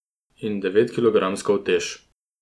In devetkilogramsko utež.